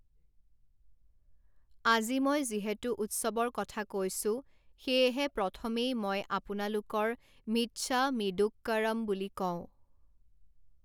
আজি মই যিহেতু উৎসৱৰ কথা কৈছো, সেয়েহে প্ৰথমেই মই আপনালোকৰ মিচ্ছামিদুক্কড়ম বুলি কওঁ।